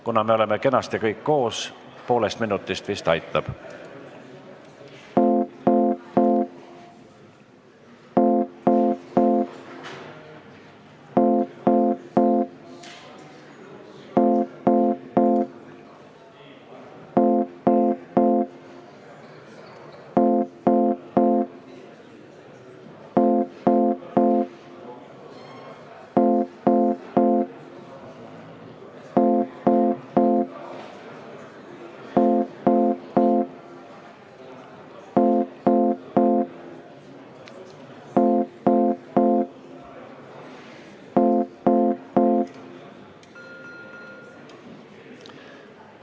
Kuna me oleme kenasti kõik koos, siis poolest minutist vist aitab.